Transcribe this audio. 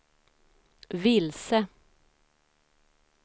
vilse